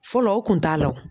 Fɔlɔ o kun t'a la wo.